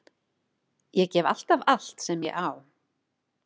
Ég gef alltaf allt sem ég á.